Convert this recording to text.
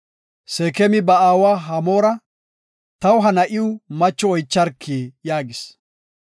Seekemi ba aawa Hamoora, “Taw ha na7iw macho oycharki” yaagis.